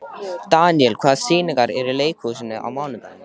Daniel, hvaða sýningar eru í leikhúsinu á mánudaginn?